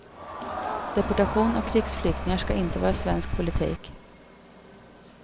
Deportation av krigsflyktingar ska inte vara svensk politik.